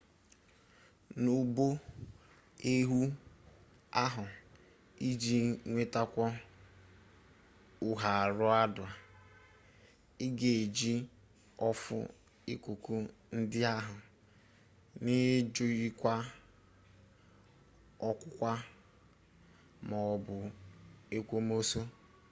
n'ụbọ ehwu ahụ iji nwetakwuo ụharaụda ị ga-eji ọfụ ikuku ndị ahụ n'ijikwu ọkwụkwa ma ọ bụ ekwomọsọ